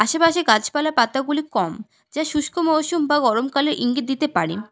আশেপাশে গাছপালা পাতাগুলি কম যা শুষ্ক মরশুম বা গরমকালের ইঙ্গিত দিতে পারে।